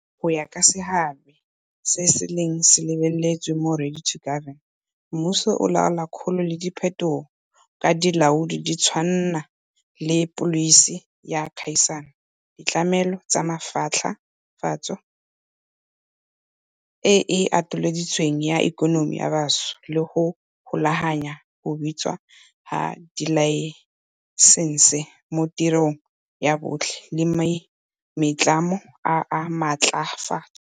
Fela go ya ka seabe se se neng se lebeletswe mo 'Ready to Govern', mmuso o laola kgolo le diphetogo ka dilaodi di tshwana le pholisi ya kgaisano, ditlamelo tsa maatlafatso e e atolositsweng ya ikonomi ya bantsho, le go golaganya go abiwa ga dilaesense mo tirelong ya botlhe le maitlamo a maatlafaatso.